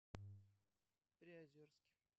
приозерске